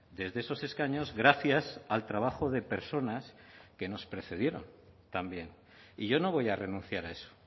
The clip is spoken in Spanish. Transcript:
desde esos escaños gracias al trabajo de personas que nos precedieron también y yo no voy a renunciar a eso